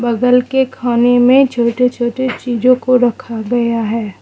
बगल के खाने में छोटे छोटे चीजों को रखा गया है।